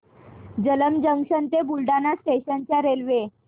Jalamb junction ते Buldhana station च्या railway